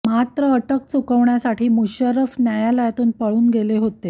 मात्र अटक चुकवण्यासाठी मुशर्रफ न्यायालयातून पळून गेले होते